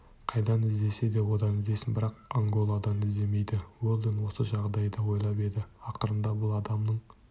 қайдан іздесе одан іздесін бірақ анголадан іздемейді уэлдон осы жағдайды ойлап еді ақырында бұл адамның